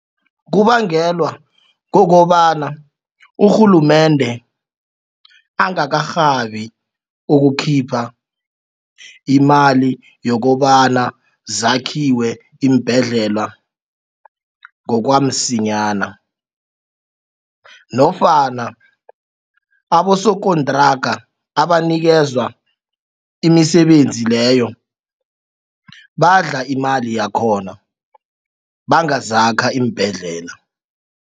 Kubangelwa kokobana urhulumende angakarhabi ukukhipha imali yokobana zakhiwe iimbhedlela ngokwamsinyana nofana abosokontraga abanikezwa imisebenzi leyo badla imali yakhona bangazakha iimbhedlela.